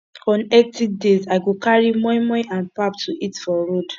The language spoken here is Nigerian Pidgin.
on hectic days i go carry moi moi and pap to eat for road